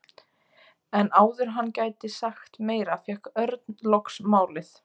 En áður en hann gæti sagt meira fékk Örn loks málið.